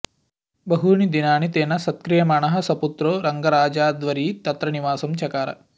बहूनि दिनानि तेन सत्क्रियमाणः सपुत्रो रङ्गराजाध्वरी तत्र निवासं चकार